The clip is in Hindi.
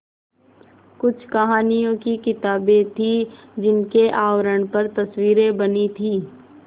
कुछ कहानियों की किताबें थीं जिनके आवरण पर तस्वीरें बनी थीं